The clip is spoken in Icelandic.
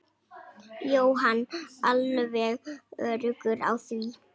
Jóhann: Alveg öruggur á því?